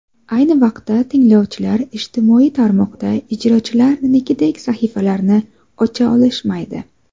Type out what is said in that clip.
Ayni vaqtda, tinglovchilar ijtimoiy tarmoqda ijrochilarnikidek sahifalarni ocha olishmaydi.